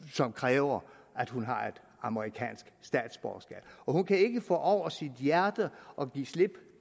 som kræver at hun har et amerikansk statsborgerskab og hun kan ikke få over sit hjerte at give slip